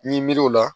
Ni miiriw la